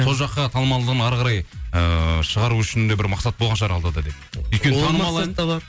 сол жаққа танымалдығын ары қарай ыыы шығару үшін де бір мақсат болған шығар алдыда деп